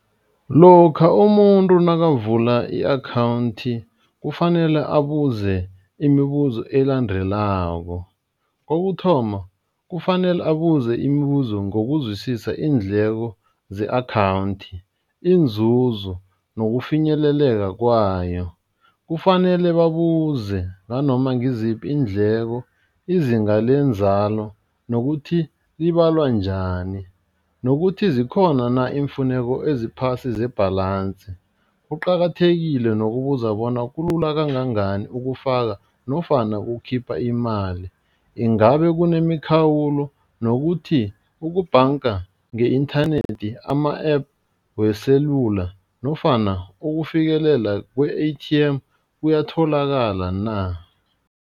Lokha umuntu nakavula i-akhawundi kufanele abuze imibuzo elandelako, kokuthoma kufanele abuze imibuzo ngokuzwisisa iindleko ze-akhawundi, iinzuzo nokufinyeleleka kwayo, kufanele babuze nanoma ngiziphi iindleko, izinga lenzalo nokuthi libalwa njani nokuthi zikhona na iimfuneko eziphasi ze-balance. Kuqakathekile nokubuza bona kulula kangangani ukufaka nofana ukukhipha imali, ingabe kunemikhawulo nokuthi ukubhanga nge-inthanethi ama-app weselula nofana ukufikelela kwe-A_T_M kuyatholakala na.